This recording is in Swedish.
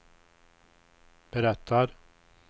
berättar